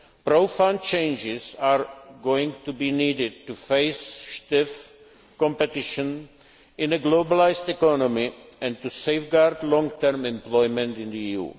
Profound changes are going to be needed to face stiff competition in a globalised economy and to safeguard long term employment in